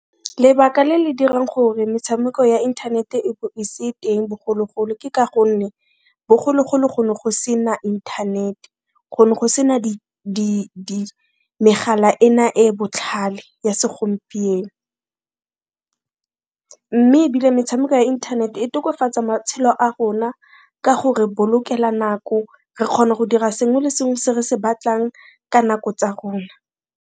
Lebaka le le dirang gore metshameko ya internet e bo e se teng bogologolo ke ka gonne bogologolo go ne go se na inthanete, go ne go se na megala e na e botlhale ya segompieno, mme ebile metshameko ya internet e tokafatsa matshelo a rona ka gore bolokela nako, re kgona go dira sengwe le sengwe se re se batlang ka nako tsa rona.